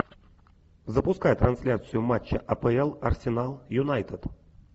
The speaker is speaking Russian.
запускай трансляцию матча апл арсенал юнайтед